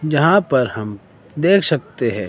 यहां पर हम देख सकते है।